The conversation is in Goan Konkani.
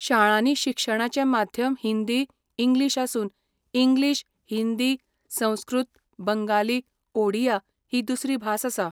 शाळांनी शिक्षणाचें माध्यम हिंदी, इंग्लीश आसून इंग्लीश, हिंदी, संस्कृत, बंगाली, ओडिया ही दुसरी भास आसा.